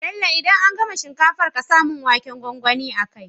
Bello idan an gama shinkafar ƙasa mun waken gwangwani a kai